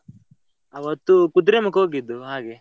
ಆವತ್ತು Kudremukh ಹೋಗಿದ್ದು ಹಾಗೆ.